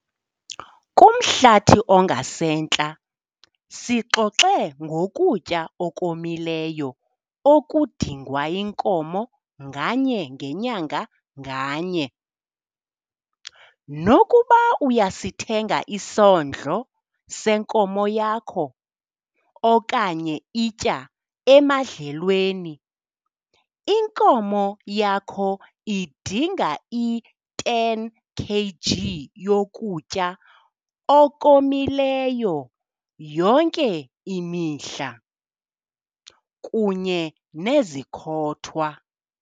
Kumhlathi ongasentla, sixoxe ngokutya okomileyo okudingwa yinkomo nganye ngenyanga nganye. Nokuba uyasithenga isondlo senkomo yakho, okanye itya emadlelweni, inkomo yakho idinga i-10 kg yokutya okomileyo yonke imihla, kunye nezikhothwa.